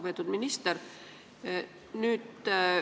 Lugupeetud minister!